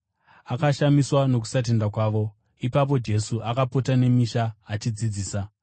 Akashamiswa nokusatenda kwavo. Jesu Anotuma Vane Gumi naVaviri Ipapo Jesu akapota nemisha achidzidzisa.